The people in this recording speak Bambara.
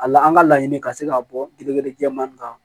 A la an ka laɲini ka se ka bɔ degere jɛman nin kan